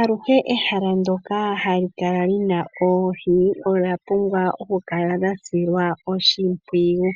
Aluhe ehala ndyoka hali kala lina oohi , olya pumbwa okukala lya silwa oshimpwiyu.